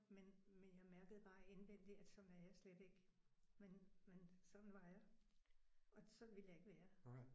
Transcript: Men men jeg mærkede bare indvendig at sådan er jeg slet ikke. Men men sådan var jeg. Og sådan ville jeg ikke være